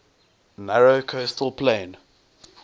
narrow coastal plain